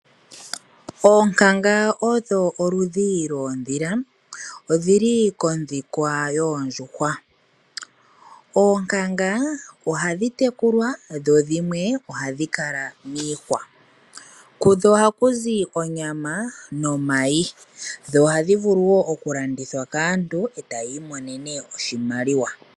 Oonkanga odho oludhi dhodhila odhili kodhikwa yoondjhuwa. Oonkanga ohadhi tekulwa dho dhimwe ohadhi kala miihwa. Kudho oha kuzi oonyama nomayi dho ohadhi vulu wo okulandithwa kaantu e tayi monene oshimaliwa.